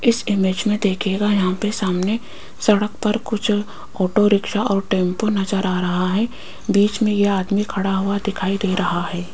इस इमेज में देखिएगा यहां पे सामने सड़क पर कुछ ऑटो रिक्शा और टेंपो नजर आ रहा है बीच में यह आदमी खड़ा हुआ दिखाई दे रहा है।